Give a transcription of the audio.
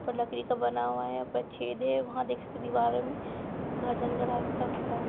ऊपर लकड़ी का बना हुआ है ऊपर छेद है वहाँ देख सकते दीवारों में घर जाने का रास्ता उसका है।